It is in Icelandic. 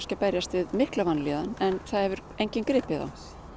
að berjast við mikla vanlíðan en það hefur enginn gripið þá